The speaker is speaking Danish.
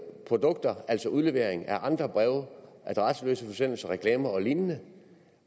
produkter altså uddeling af andre breve adresseløse forsendelser reklamer og lignende